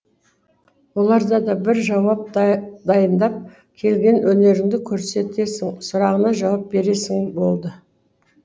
оларда да бір жауап дайындап келген өнеріңді көрсетесің сұрағына жауап бересің болды